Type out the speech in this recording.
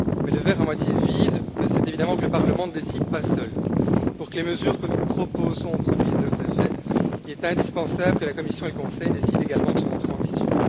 Le verre à moitié vide, c'est évidemment que le Parlement ne décide pas seul. Pour que les mesures que nous proposons produisent leurs effets, il est indispensable que la Commission et le Conseil décident également de se montrer ambitieux.